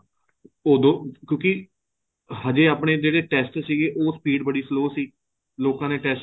ਉਦੋਂ ਕਿਉਂਕਿ ਹਜੇ ਆਪਣੇ ਜਿਹੜੇ test ਸੀਗੇ ਉਹ speed ਬੜੀ slow ਸੀਗੀ ਲੋਕਾਂ ਦੇ test